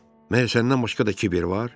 Məndən başqa da kiber var?